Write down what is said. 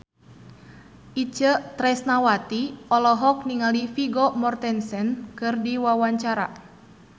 Itje Tresnawati olohok ningali Vigo Mortensen keur diwawancara